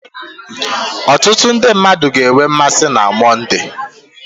Ọtụtụ ndị mmadụ ga-enwe mmasị na Mọnde